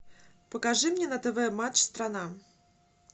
покажи мне на тв матч страна